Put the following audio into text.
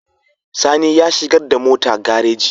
Sani ya shigar da mota gareji